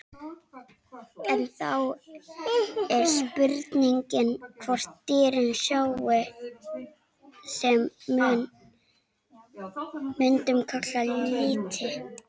En þá er spurningin hvort dýrin sjái það sem við mundum kalla liti?